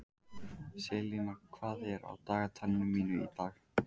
Selina, hvað er á dagatalinu í dag?